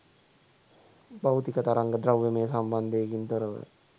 භෞතික තරංග ද්‍රව්‍යමය සම්බන්ධයකින් තොරව